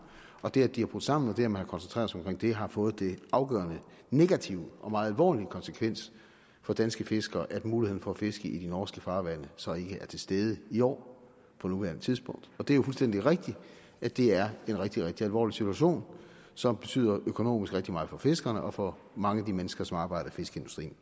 og det at de er brudt sammen og det at man har koncentreret sig om det har fået den afgørende negative og meget alvorlige konsekvens for danske fiskere at muligheden for at fiske i de norske farvande så ikke er til stede i år på nuværende tidspunkt det er jo fuldstændig rigtigt at det er en rigtig rigtig alvorlig situation som betyder økonomisk rigtig meget for fiskerne og for mange af de mennesker som arbejder i fiskeindustrien